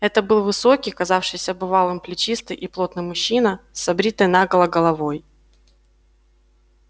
это был высокий казавшийся бывалым плечистый и плотный мужчина с обритой наголо головой